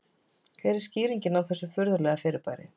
Hver er skýringin á þessu furðulega fyrirbæri?